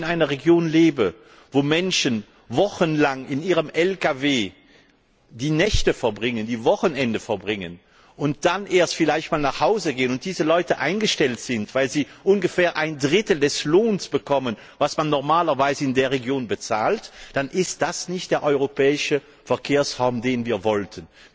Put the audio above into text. Wenn wie in der Region, in der ich lebe Menschen wochenlang in ihrem Lkw die Nächte und die Wochenenden verbringen und dann erst vielleicht nach Hause gehen, und wenn diese Leute eingestellt sind, weil sie ungefähr ein Drittel des Lohns bekommen, den man normalerweise in der Region bezahlt, dann ist das nicht der europäische Verkehrsraum, den wir wollten!